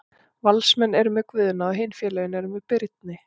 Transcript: Valsmenn eru með Guðna og hin félögin eru með Birni.